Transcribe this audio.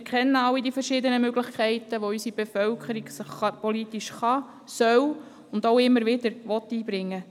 Wir kennen alle die verschiedenen Möglichkeiten, wie sich unsere Bevölkerung politisch einbringen kann und soll, und dies auch immer wieder tun will.